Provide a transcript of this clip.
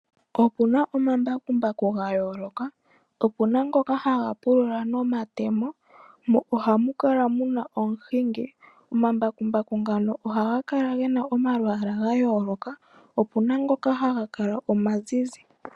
Opu na omambakumbaku ga yooloka. Opu na ngoka haga pulula nomatemo, mo ohamu kala muna omuhingi. Omambakumbaku ngaka ohaga kala gena omalwaala ga yooloka, opu na ngoka haga kala omazizi.